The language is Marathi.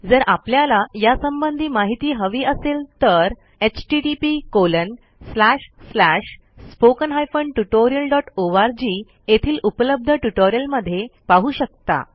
जर आपल्याला यासंबंधी माहिती हवी असेल तर httpSpoken Tutorialorg येथील उपलब्ध ट्युटोरियलमध्ये पाहू शकता